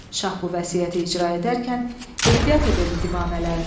Şah bu vəsiyyəti icra edərkən ehtiyat edirdi divanələrdən.